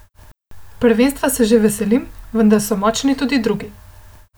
Prvenstva se že veselim, vendar so močni tudi drugi.